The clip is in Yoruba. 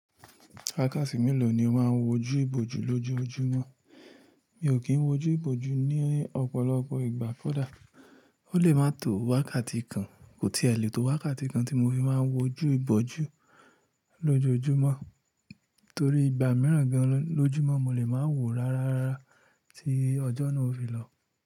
Wákàtí mélòó ni o máa ń wojú ìbòjú lójoojúmọ́? Mi ò kí ń wojú ìbòjú ní ọ̀pọ̀lọpọ̀ ìgbà kódà. Ó lè máa tó wákàtí kan, kò tìẹ letó wákàtí kan tí mo fi máa ń wojú ìbòjú lójoojúmọ́. Torí ìgbà mìíràn gan lójúmọ́ mo lè máa wò rara rára tí ọjọ́ náà ó fi lọ.